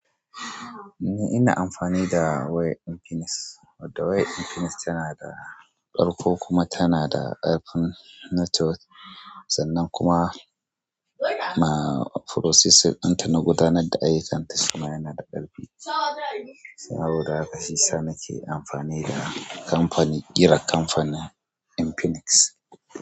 Ni ina amfani da wayar Infinix. Wato wayar infinix tana da kargo kuma tana da ƙarfin network sannan kuma na processing ɗinta na gudanar da aiyu kanta shima yana da ƙarfi saboda haka shi sa nake amfani da kamfanin, ƙira kamfanin Infinix.